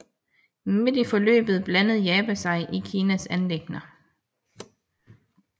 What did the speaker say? Midt i forløbet blandede Japan sig i Kinas anliggender